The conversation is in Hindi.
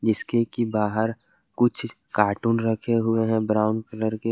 के बाहर कुछ कार्टून रखे हुए हैं ब्राउन कलर के।